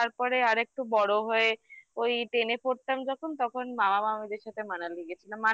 তারপরে আরেকটু বড় হয়ে ওই ten এ পড়তাম যখন তখন বাবা মা আমাদের সাথে Manali গেছিল